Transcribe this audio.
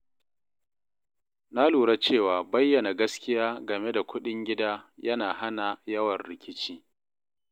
Na lura cewa bayyana gaskiya game da kuɗin gida yana hana yawan rikici.